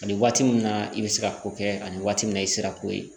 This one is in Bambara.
Ani waati min na i bɛ se ka ko kɛ ani waati min na i sera ko ye